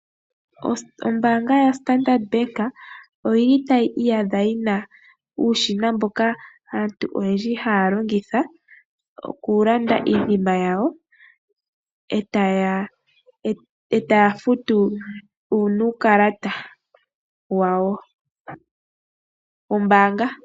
Ombaanga yaStandard Bank otayi iyadha yi na uushina mboka aantu oyendji haya longitha okulanda iinima yawo, etaya futu nuukalata wawo wombaanga.